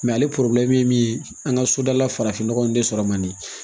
ale ye min ye an ka sodala farafinnɔgɔ in de sɔrɔ man di